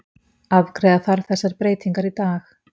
Afgreiða þarf þessar breytingar í dag